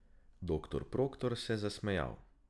Doktor Proktor se je zasmejal.